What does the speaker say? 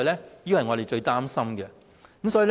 這便是我們最擔心的事情。